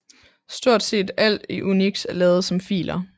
Stort set alt i UNIX er lavet som filer